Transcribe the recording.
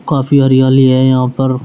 काफी हरियाली है यहां पर।